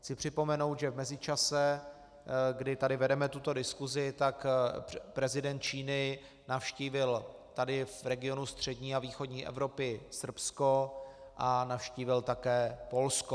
Chci připomenout, že v mezičase, kdy tady vedeme tuto diskusi, tak prezident Číny navštívil tady v regionu střední a východní Evropy Srbsko a navštívil také Polsko.